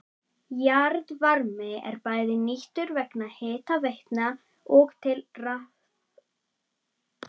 Jarðvarmi er bæði nýttur vegna hitaveitna og til raforkuvinnslu.